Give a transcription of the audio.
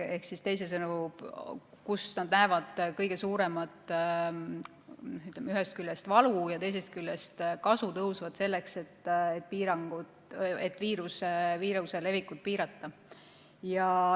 Ehk teisisõnu, kasutada seda seal, kus nad näevad ühest küljest kõige suuremat valu ja teisest küljest kasu tõusvat, et viiruse levikut piirata.